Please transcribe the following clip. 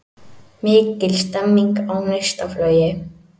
Mikil stemming á Neistaflugi